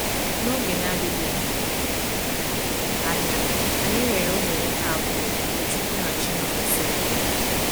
N’oge na-adịbeghị anya, anyị nwere ụmụ nwoke abụọ, Tochukwu na Chinomnso.